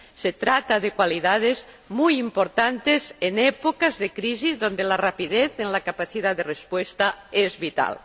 Se trata de cualidades muy importantes en épocas de crisis, cuando la rapidez en la capacidad de respuesta es vital.